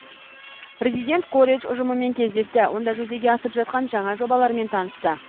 президент колледж ұжымымен кездесті онда жүзеге асып жатқан жаңа жобалармен танысты